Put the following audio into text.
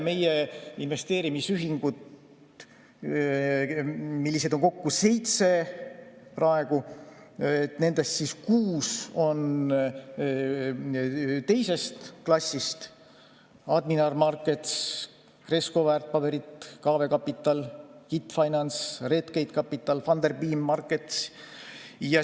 Meie investeerimisühinguid on kokku praegu seitse, nendest kuus on teises klassis: Admiral Markets, Cresco Väärtpaberid, Kawe Kapital, KIT Finance Europe, Redgate Capital ja Funderbeam Markets.